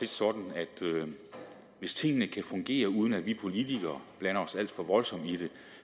sådan at hvis tingene kan fungere uden at vi politikere blander os alt for voldsomt i det